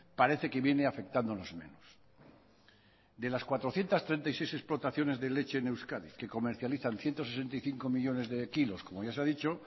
parece que viene afectándonos menos de las cuatrocientos treinta y seis explotaciones de leche en euskadi que comercializan ciento sesenta y cinco millónes de kilos como ya se ha dicho